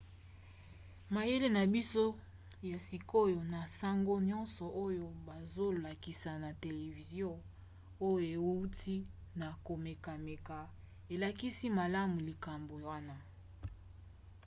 mayele na biso ya sikoyo na basango nyonso oyo bazolakisa na televizio oyo euti na komekameka elakisa malamu likambo wana